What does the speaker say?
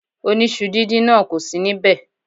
Oníṣu díndín náà kò sì níbẹ̀.